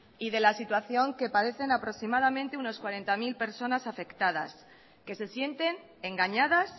y de la situación que padecen aproximadamente unas cuarenta mil personas afectadas que se sienten engañadas